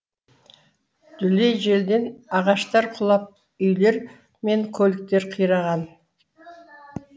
дүлей желден ағаштар құлап үйлер мен көліктер қираған